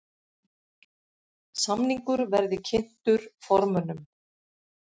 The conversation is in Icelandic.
Samningur verði kynntur formönnum